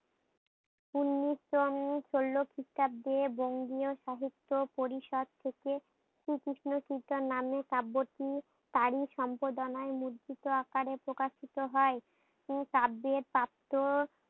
উনিশশো ষোলো খ্রিস্টাব্দে বঙ্গীয় সাহিত্য পরিসর থেকে শ্রী কৃষ্ণ কীর্তন নামে পার্বতী তারই সম্প্রাদনায় লিখিত আকারে প্রকাশিত হয়। উম তাব্বে প্রাপ্ত